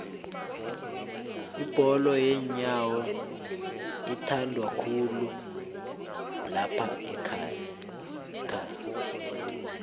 ibholo yenyowo ithandwakhulu laphaekhaga